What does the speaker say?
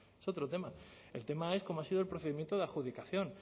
es otro tema el tema es cómo ha sido el procedimiento de adjudicación